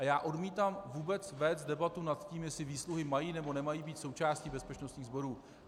A já odmítám vůbec vést debatu nad tím, jestli výsluhy mají, nebo nemají být součástí bezpečnostních sborů.